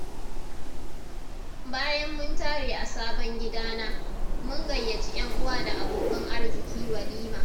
bayan mun tare a sabon gidana, mun gayyaci 'yan uwa da abokan arziƙi walima.